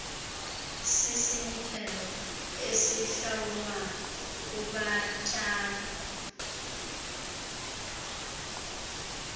sisinikelo esihlawulwa kubatyai